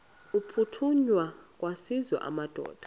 aphuthunywayo kwaziswe amadoda